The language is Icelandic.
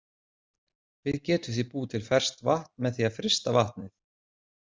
Við getum því búið til ferskt vatn með því að frysta vatnið.